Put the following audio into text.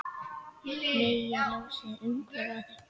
Megi ljósið umvefja þig.